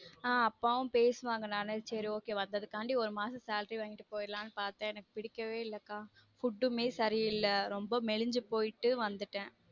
ஆஹ் அப்பாவும் பேசுவாங்க நானு சேரி okay வந்ததுக்கு காண்டி ஒரு மாசம் salary வாங்கிட்டு போய்ட்லான் பார்த்தேன் எனக்கு புடிக்கவே இல்ல கா food மே சரி இல்ல ரொம்ப மெலிஞ்சு போய்ட்டு வந்துட்டன்